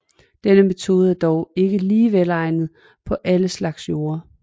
Denne metode er dog ikke lige velegnet på alle slags jorder